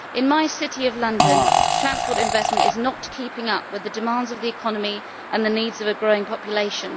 In my city of London, transport investment is not keeping up with the demands of the economy and the needs of a growing population.